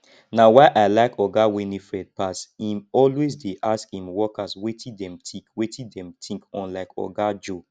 na why i like oga winifred pass im always dey ask im workers wetin dem think wetin dem think unlike oga joe